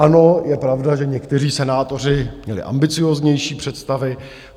Ano, je pravda, že někteří senátoři měli ambicióznější představy.